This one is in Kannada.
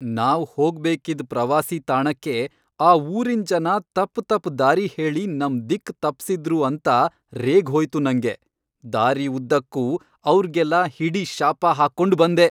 ನಾವ್ ಹೋಗ್ಬೇಕಿದ್ ಪ್ರವಾಸಿ ತಾಣಕ್ಕೆ ಆ ಊರಿನ್ ಜನ ತಪ್ ತಪ್ ದಾರಿ ಹೇಳಿ ನಮ್ ದಿಕ್ಕ್ ತಪ್ಸಿದ್ರು ಅಂತ ರೇಗ್ ಹೋಯ್ತು ನಂಗೆ, ದಾರಿ ಉದ್ದಕ್ಕೂ ಅವ್ರ್ಗೆಲ್ಲ ಹಿಡಿ ಶಾಪ ಹಾಕ್ಕೊಂಡ್ ಬಂದೆ.